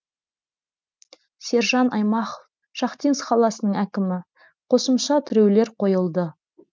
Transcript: сержан аймақов шахтинск қаласының әкімі қосымша тіреулер қойылды